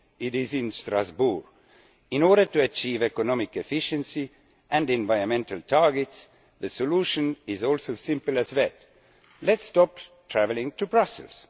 It is in Strasbourg. In order to achieve economic efficiency and environmental targets, the solution is as simple as that let us stop travelling to Brussels.